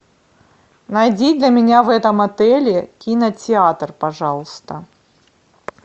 найди для меня в этом отеле кинотеатр пожалуйста